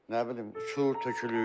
Nə bilim, uçur, tökülür.